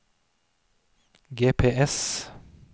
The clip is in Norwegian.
GPS